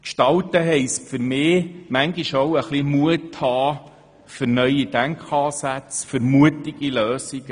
Gestalten heisst für mich auch, Mut für neue Denkansätze und Lösungen aufzubringen.